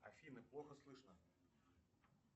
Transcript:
афина плохо слышно